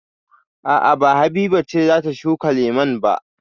A'a ba Habiba ce za ta shuka lemun ba.